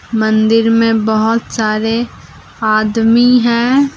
मंदिर में बहोत सारे आदमी है।